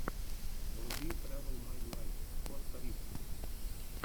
вруби трэвэл май лайф коста рику